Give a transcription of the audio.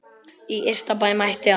Í Ystabæ mátti allt.